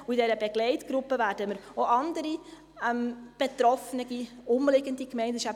In dieser Begleitgruppe werden wir auch andere betroffene umliegende Gemeinden mit einbeziehen.